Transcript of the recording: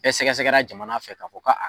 Bɛ sɛgɛsɛgɛra jamana fɛ ka fɔ ko